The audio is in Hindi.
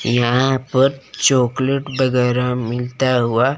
यहां पर चॉकलेट वगैरह मिलता हुआ--